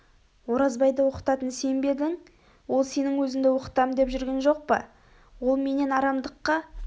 оразбайды оқытатын сен бе едің ол сенің өзінді оқытам деп жүрген жоқ па ол менен арамдыкқа